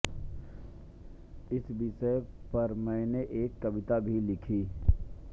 इस विषय पर मैंने एक कविता भी लिखी